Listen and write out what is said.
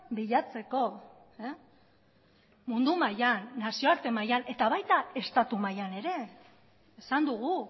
bilatzeko mundu mailan nazioarte mailan eta baita estatu mailan ere esan dugu